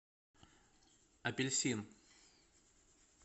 апельсин